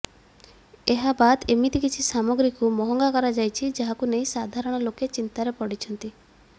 ଏହାବାଦ୍ ଏମିତି କିଛି ସାମଗ୍ରୀକୁ ମହଙ୍ଗା କରାଯାଇଛି ଯାହାକୁ ନେଇ ସାଧାରଣ ଲୋକେ ଚିନ୍ତାରେ ପଡ଼ିଛନ୍ତି